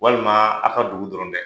Walima aw ka dugu dɔrɔn tɛ